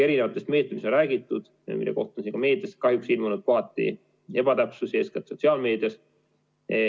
Erinevatest meetmetest, millest on räägitud, on meedias kahjuks ilmunud kohati ebatäpset infot, eeskätt sotsiaalmeedias.